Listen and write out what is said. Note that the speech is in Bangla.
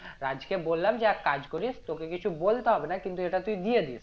রাজকে বললাম যে এক কাজ করিস তোকে কিছু বলতে হবে না কিন্তু এটা তুই দিয়ে দিস